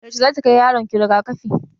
Yaushe zaki kai yaron ki rigakafi?